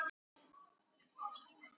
Þórdís: En hvernig fannst þér?